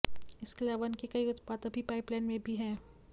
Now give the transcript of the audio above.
इसके अलावा इनके कई उत्पाद अभी पाइपलाइन में भी हैं